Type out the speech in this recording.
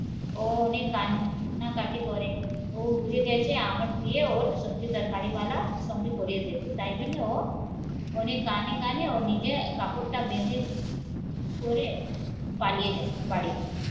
ও অনেক কান্নাকাটি করে ও বুঝে গেছে আমার বিয়ে ওর সবজি তরকারি ওয়াল সঙ্গে করিয়ে দেবে তাই জন্য ও উনি কানে কানে ও নিজে কাপড় বেঁধেছে করে পালিয়ে যায় বাড়ি দিয়ে